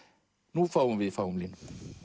nú fáum við í fáum línum